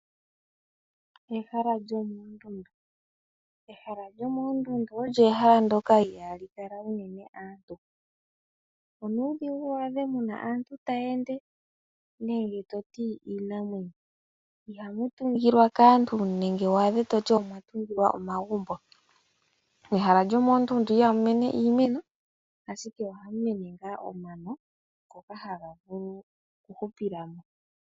Ehala lyomoondundu . Ehala lyomoondundu olyo ehala ndyoka i haa li kala uunene aantu . Onuudhigu waadhe muna aantu tayeende nenge toti iinamwenyo. Ihamu tungilwa kaantu nenge waadhe toti omwa tungilwa omagumbo . Ehala lyomoondundu iha mu mene iimeno, ashike ohamu mene ngaa omano ngoka haga vulu okuhupila mo.